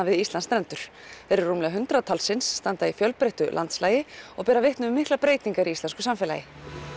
við Íslandsstrendur þeir eru rúmlega hundrað talsins standa í fjölbreyttu landslagi og bera vitni um miklar breytingar í íslensku samfélagi